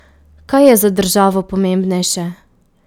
Kaj je za državo pomembnejše?